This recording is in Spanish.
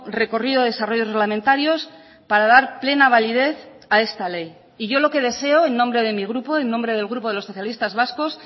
recorrido desarrollos reglamentarios para dar plena validez a esta ley y yo lo que deseo en nombre de mi grupo en nombre del grupo de los socialistas vascos